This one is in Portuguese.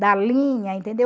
da linha, entendeu?